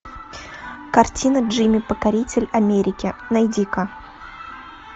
картина джимми покоритель америки найди ка